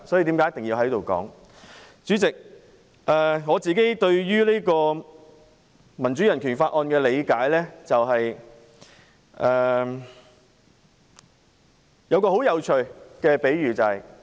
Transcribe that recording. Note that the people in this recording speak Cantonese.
主席，對於《香港人權與民主法案》的理解是，我有一個很有趣的比喻。